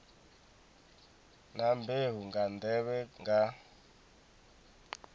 na mbeu nga nḓevhe nga